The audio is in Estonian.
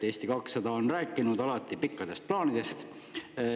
Eesti 200 on rääkinud alati pikkadest plaanidest.